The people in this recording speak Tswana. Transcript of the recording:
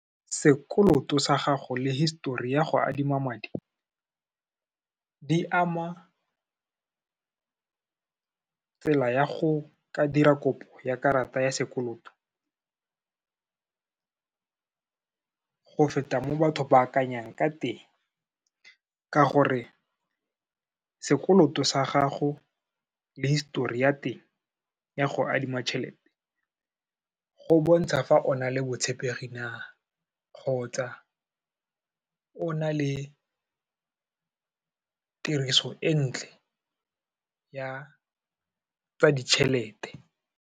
Sekoloto sa gago le histori ya go adima madi, di ama tsela ya go ka dira kopo ya karata ya sekoloto, go feta mo batho ba akanyang ka teng, ka gore sekoloto sa gago le histori ya teng ya go adima tšhelete, go bontsha fa o na le botshepegi na, kgotsa o na le tiriso e ntle ya tsa ditšhelete.